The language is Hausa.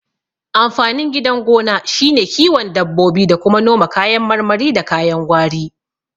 Amfanin gidan gona shine kiwon dabbobi da kuma noma kayan marmari da kayan gwari